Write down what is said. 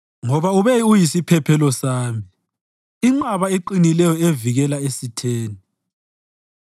Ngoba ube uyisiphephelo sami, inqaba eqinileyo evikela esitheni.